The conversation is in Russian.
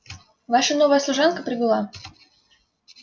ваша новая служанка прибыла